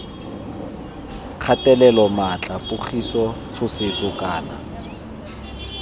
kgatelelo maatla pogiso tshosetso kana